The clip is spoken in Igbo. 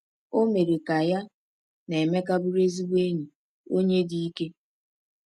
O mere ka ya na Emeka bụrụ ezigbo enyi, onye dị ike.